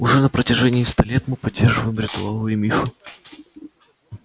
уже на протяжении ста лет мы поддерживаем ритуалы и мифы